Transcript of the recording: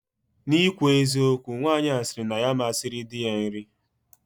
Na ikwu eziokwu, Nwanyi a siri na ya ama siri di ya nri